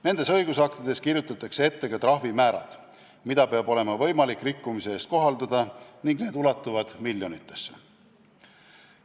Nendes õigusaktides kirjutatakse ette ka trahvimäärad, mida peab olema võimalik rikkumise eest kohaldada, need ulatuvad miljonitesse.